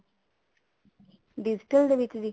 digital ਦੇ ਵਿੱਚ ਜੀ